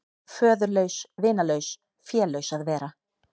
Föðurlaus, vinalaus, félaus að vera.